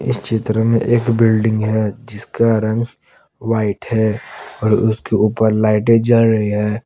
चित्र में एक बिल्डिंग है जिसका रंग व्हाइट है और उसके ऊपर लाइटें जल रही है।